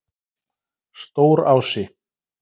Stórási